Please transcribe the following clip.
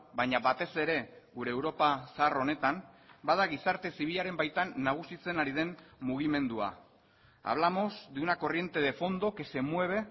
baina batez ere gure europa zahar honetan bada gizarte zibilaren baitan nagusitzen ari den mugimendua hablamos de una corriente de fondo que se mueve